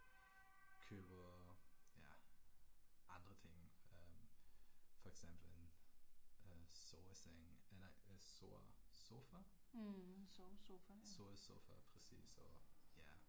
Købe ja, andre ting øh, for eksempel en øh soveseng nej sovesofa? Sovesofa præcis og ja